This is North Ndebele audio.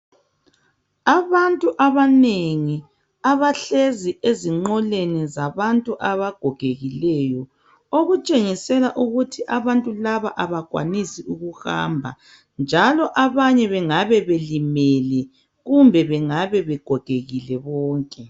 Abantu abanengi abahlezi ezinqoleni zabantu abagogekileyo okutshengisela ukuthi abantu laba abakwanisi ukuhamba njalo abanye bengabe belimele kumbe bengabe begogekile bonke.